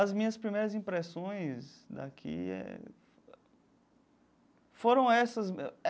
As minhas primeiras impressões daqui eh foram essas.